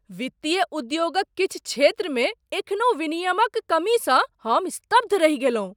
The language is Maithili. वित्तीय उद्योगक किछु क्षेत्रमे एखनहु विनियमक कमीसँ हम स्तब्ध रहि गेलहुँ।